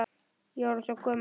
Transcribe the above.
Ég er orðin svo gömul.